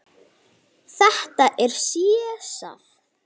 Þetta er Sesar.